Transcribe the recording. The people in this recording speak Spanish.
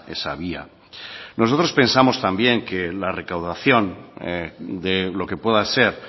esa vía nosotros pensamos también que la recaudación de lo que pueda ser